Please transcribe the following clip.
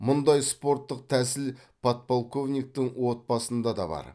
мұндай спорттық тәсіл подполковниктің отбасында да бар